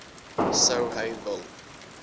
sou hy wil